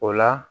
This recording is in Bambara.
O la